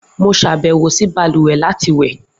Mo ṣabẹwo si baluwe lati wẹ.